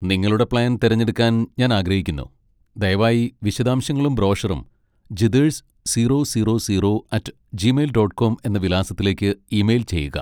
നിങ്ങളുടെ പ്ലാൻ തിരഞ്ഞെടുക്കാൻ ഞാൻ ആഗ്രഹിക്കുന്നു, ദയവായി വിശദാംശങ്ങളും ബ്രോഷറും Jitesh zero zero zero at Gmail dot com എന്ന വിലാസത്തിലേക്ക് ഇമെയിൽ ചെയ്യുക.